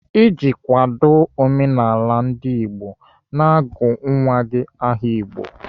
Iji kwado omenala ndigbo, na-agụ nwa gị aha Igbo.